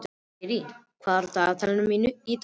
Sirrí, hvað er í dagatalinu mínu í dag?